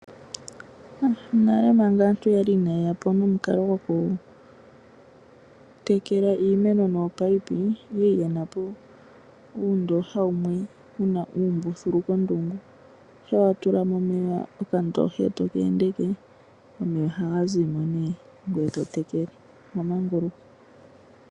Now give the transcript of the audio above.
Nale manga aantu yali ina yeya po nomukalo gwokutekela iimeno nominino oyali yena po uundooha wumwe wuna uumbùhulu komdungu. Uuna wa tula mo meya okandooha eto keendeke omeya ohaga ziya mo ngoye to tekele wa manguluka.